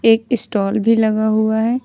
एक स्टॉल भी लगा हुआ है।